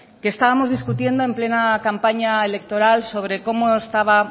que estábamos discutiendo en plena campaña electoral sobre cómo estaba